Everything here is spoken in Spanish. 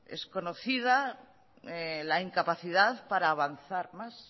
es conocida la incapacidad para avanzar más